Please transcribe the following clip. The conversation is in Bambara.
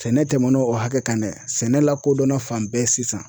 Sɛnɛ tɛmɛnn'o hakɛ kan dɛ sɛnɛ lakodɔnna fan bɛɛ sisan.